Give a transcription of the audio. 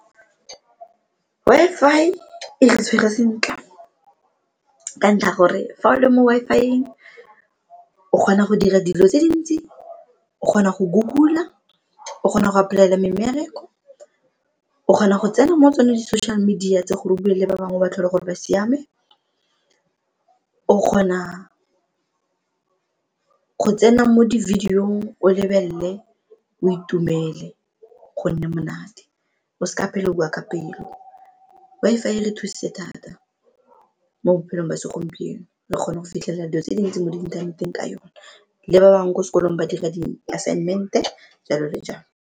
Wi-Fi e re tshwere sentle ka ntlha ya gore fa o le mo Wi-Fi-eng o kgona go dira dilo tse dintsi, o kgona go Google-a, o kgona go apply-ela me mmereko, o kgona go tsena mo tsone di-social media tse gore o bue le ba bangwe o ba tlhole gore ba siame, o kgona go tsena mo di-video-ng o lebelele o itumele go nne monate o se ka phela o bua ka pelo Wi-Fi e re thusitse thata mo bophelong ba segompieno re kgona go fitlhelela dilo tse dintsi mo inthaneteng ka yone, le ba bangwe ko sekolong ba dira di-assignment-e, jalo le jalo.